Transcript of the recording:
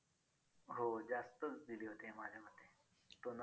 कालांतराने त्या गोष्टी